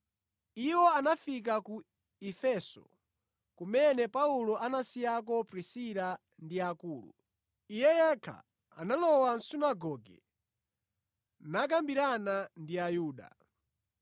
Iwo anafika ku Efeso, kumene Paulo anasiyako Prisila ndi Akula. Iye yekha analowa mʼsunagoge nakambirana ndi Ayuda.